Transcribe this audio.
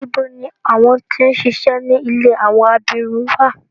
Nibo ni awọn ti n ṣiṣẹ ni ìlé awọn abirun wa?